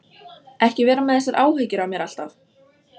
Ekki vera með þessar áhyggjur af mér alltaf!